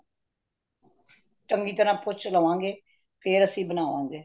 ਚੰਗੀ ਤਾਰਾ ਪੁੱਛ ਲਵਗੇ, ਫੇਰ ਅਸੀਂ ਬਨਾਵਾਗੇ।